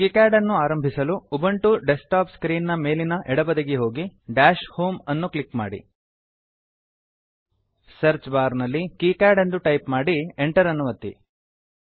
KiCad ಅನ್ನು ಆರಂಭಿಸಲು Ubuntu desktop screen ನ ಮೇಲಿನ ಎಡ ಬದಿಗೆ ಹೋಗಿ ದಶ್ ಹೋಮ್ ಡ್ಯಾಶ್ ಹೋಮ್ ಅನ್ನು ಕ್ಲಿಕ್ ಮಾಡಿ ಸರ್ಚ್ ಬಾರ್ ನಲ್ಲಿ ಕಿಕಾಡ್ ಕೀಕ್ಯಾಡ್ ಎಂದು ಟೈಪ್ ಮಾಡಿ enter ಎಂಟರ್ ಅನ್ನು ಒತ್ತಿರಿ